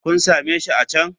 Kun same shi a can.